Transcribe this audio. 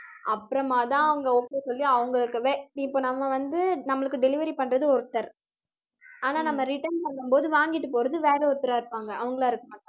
அப்புறமா தான் அவங்க okay சொல்லி அவங்களுக்கு வே~ இப்ப நம்ம வந்து நம்மளுக்கு delivery பண்றது ஒருத்தர் ஆனா, நம்ம return பண்ணும் போது, வாங்கிட்டு போறது, வேற ஒருத்தரா இருப்பாங்க அவங்களா இருக்க மாட்டாங்க